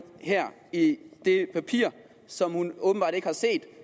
her i det papir som hun åbenbart ikke har set